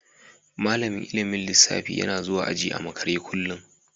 Malamin ilmin lissafi yana zuwan aji a makere kullum.